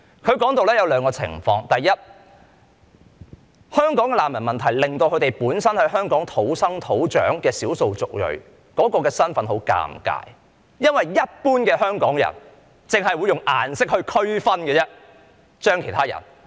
他說出了兩種情況︰第一，香港的難民問題令到本身在香港土生土長的少數族裔的身份很尷尬，因為一般香港人只會用顏色區分其他人。